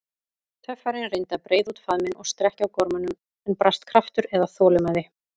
Töffarinn reyndi að breiða út faðminn og strekkja á gormunum, en brast kraftur eða þolinmæði.